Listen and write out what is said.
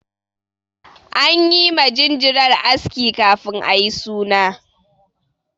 An yi ma jinjirar aski kafin ayi suna.